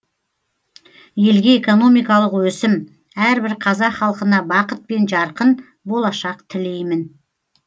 елге экономикалық өсім әрбір қазақ халқына бақыт пен жарқын болашақ тілеймін